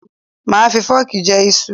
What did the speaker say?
Máà fi fọ́ọ̀kì jẹ iṣu